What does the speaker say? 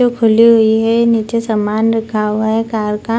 जो खुले हुए हैं नीचे सामान रखा हुआ है कार का।